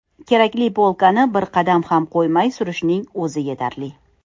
Kerakli polkani bir qadam ham qo‘ymay surishning o‘zi yetarli.